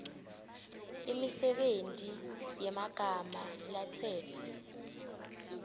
imisebenti yemagama latsetfwe